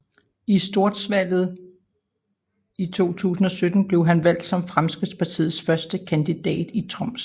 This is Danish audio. I Storgsvalget i 2017 blev han valgt som Fremskrittspartiets første kandidat i Troms